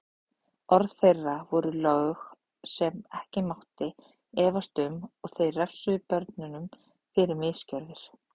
Orð þeirra voru lög sem ekki mátti efast um og þeir refsuðu börnunum fyrir misgjörðir.